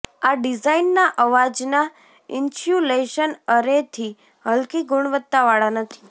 આ ડિઝાઇનના અવાજના ઇન્સ્યુલેશન એરેથી હલકી ગુણવત્તાવાળા નથી